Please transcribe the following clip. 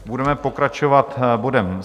Budeme pokračovat bodem